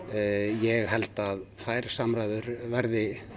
ég held að þær samræður verði